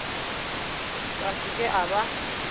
ka se ke a ba